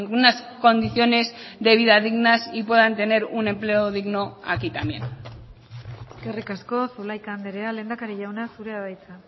unas condiciones de vida dignas y puedan tener un empleo digno aquí también eskerrik asko zulaika andrea lehendakari jauna zurea da hitza